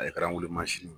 Ale kɛra an wolo mansin ye